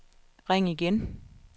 ring igen